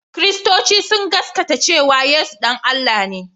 Kiristoci sun gasgaata cewa Yesu ɗan Allah ne